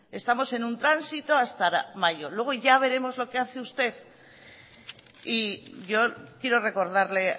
estamos en un tránsito hasta mayo luego ya veremos lo que hace usted y yo quiero recordarle